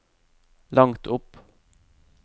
langt opp